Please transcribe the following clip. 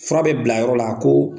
Fura bɛ bila yɔrɔ la ko